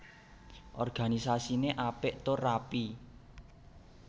Organisasiné apik tur rapi